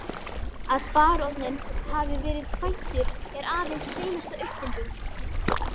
Að baróninn hafi verið kvæntur er aðeins hreinasta uppfinding.